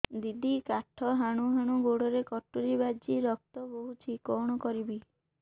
ଦିଦି କାଠ ହାଣୁ ହାଣୁ ଗୋଡରେ କଟୁରୀ ବାଜି ରକ୍ତ ବୋହୁଛି କଣ କରିବି